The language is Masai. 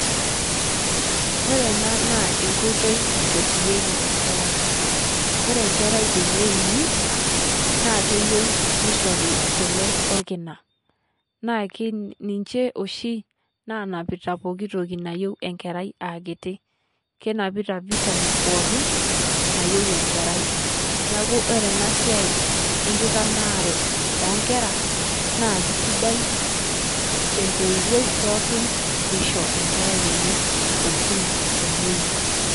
Ore ena naa enkotoi naitotieki enkerai. Ore nkerai tenewuuni naa keiyeu neishorii kule o lkinaa. Naa ninchee shii naanapita ntokii naiyeu enkerai aa kitii. Kenapitaa vitamin pookin naiyeu enkerai. Neaku ore ena siai enkitanaare e nkeraa naa kisidai to ntoiwoi pookin pee ishoo enkerai enye elkinaa teneyuu.